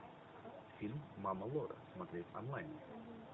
фильм мама лора смотреть онлайн